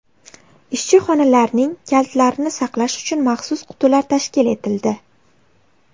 Ishchi xonalarning kalitlarini saqlash uchun maxsus qutilar tashkil etildi.